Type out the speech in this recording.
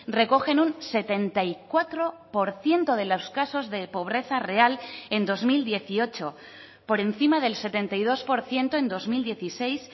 recogen un setenta y cuatro por ciento de los casos de pobreza real en dos mil dieciocho por encima del setenta y dos por ciento en dos mil dieciséis